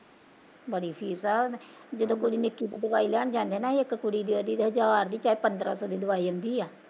ਬੜੀ ਫੀਸ ਆ ਓਤਾਂ, ਜਦੋਂ ਕੁੜੀ ਨੂੰ ਇੱਕੀ ਦਿਨ ਤੋਂ ਦਵਾਈ ਲਿਆਉਣ ਜਾਨੇ ਆ ਨਾ, ਇੱਕ ਕੁੜੀ ਦੀ ਓਹਦੀ ਹਜਾਰ ਪੰਦਰਾਂ ਸੋ ਦੀ ਦਵਾਈ ਆਉਂਦੀ ਆ